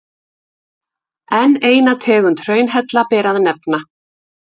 enn eina tegund hraunhella ber að nefna